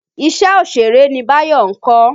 Iṣẹ́ òṣèré ni Báyọ̀ ń kọ́.